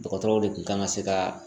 Dɔgɔtɔrɔw de kun kan ka se ka